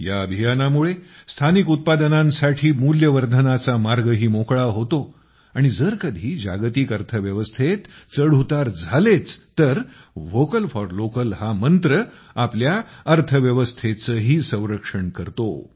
ह्या अभियानामुळे स्थानिक उत्पादनांसाठी मूल्य वर्धनाचा मार्गही मोकळा होतो आणि जर कधी जागतिक अर्थव्यवस्थेत चढउतार झालेच तर व्होकल फॉर लोकल हा मंत्र आपल्या अर्थव्यवस्थेचेही संरक्षण करतो